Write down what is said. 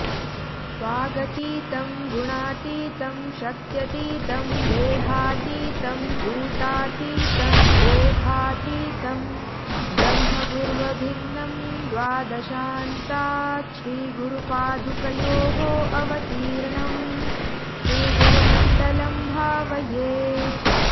वागतीतं गुणातीतं शक्त्यतीतं देहातीतं कूटातीतं ओघातीतं ब्रह्म गुर्वभिन्नं द्वादशान्तात् श्रीगुरुपादुकयोः अवतीर्णं श्रीगुरुमण्डलं भावये